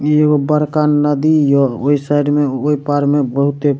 इ एगो बड़का नदी यो ओय साइड मे ओय पार मे बहुते --